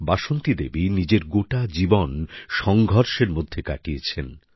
বাসন্তী দেবী নিজের গোটা জীবন সংগ্রামের মধ্যে কাটিয়েছেন